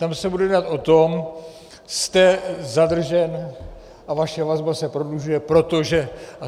Tam se bude jednat o tom, jste zadržen a vaše vazba se prodlužuje, protože.